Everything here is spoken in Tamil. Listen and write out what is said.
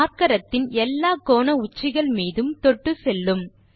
நாற்கரத்தின் எல்லா கோணஉச்சிகள் மீதும் தொட்டுச்செல்லும்